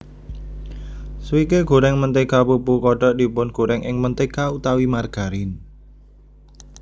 Swike goreng mentega pupu kodok dipungorèng ing mentega utawi margarin